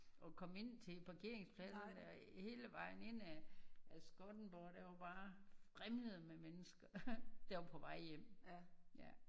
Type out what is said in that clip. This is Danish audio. Og komme ind til parkeringspladserne der og hele vejen ind ad af Skottenborg det var bare det vrimlede med mennesker da jeg var på vej hjem ja